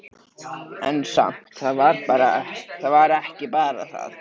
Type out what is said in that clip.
En samt, það var ekki bara það.